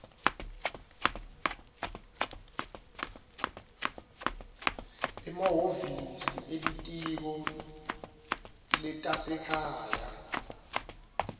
emahhovisi elitiko letasekhaya